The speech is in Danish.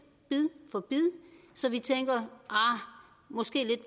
bid for bid så vi tænker at måske lidt